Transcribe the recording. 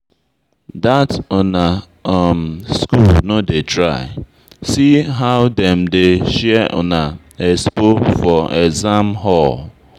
That una school no dey try, see how dem dey share una expo for exam hall